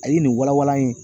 A ye nin walawalan an ye.